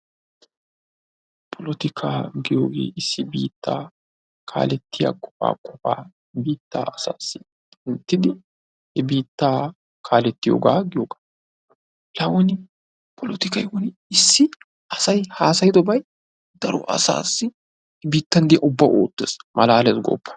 Polotika giyooge issi biittaa kaaleetia qofaa qofaa biittaa asassi woottidi he biitaa kaaletiyooga. La won polotikay won issi asay hasaydobay biittan diyaa asaw ubbaw ootees.